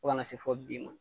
Fo kana se fo bi ma.